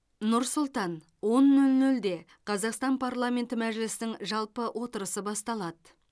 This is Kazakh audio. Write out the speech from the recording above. нұр сұлтан он нөл нөлде қазақстан парламенті мәжілісінің жалпы отырысы басталады